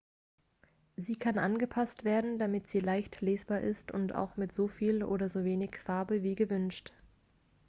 sie kann angepasst werden damit sie leicht lesbar ist und auch mit so viel oder so wenig farbe wie gewünscht